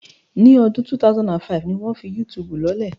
Ní ọdún 2005 ni wọ́n fi Yútùùbù lọ́lẹ̀